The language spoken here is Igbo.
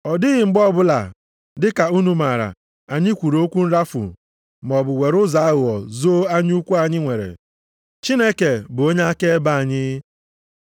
Ọ dịghị mgbe ọbụla, dị ka unu maara, anyị kwuru okwu nrafu maọbụ were ụzọ aghụghọ zoo anya ukwu anyị nwere. Chineke bụ onye akaebe anyị.